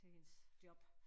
Til hendes job